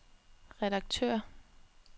redaktør